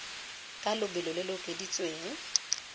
ka lobelo lo lo okeditsweng